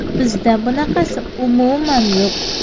Bizda bunaqasi umuman yo‘q.